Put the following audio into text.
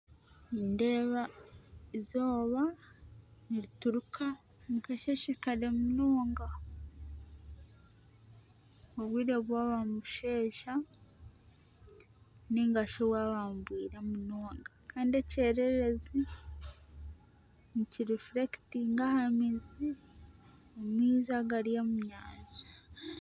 Nindeeba eizooba nirituruka omu kasheeshe kare munonga. Obwire bwaba nibusheesha nainga shi bwaba nibwira munonga. Kandi ekyererezi nikirifurekitinga aha maizi, amaizi agari omu nyanja.